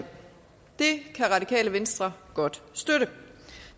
det kan radikale venstre godt støtte